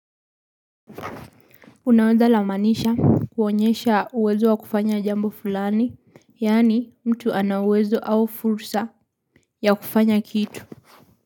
Unaweza la maanisha kuonyesha uwezo wa kufanya jambo fulani, yani mtu anauwezo au fursa ya kufanya kitu.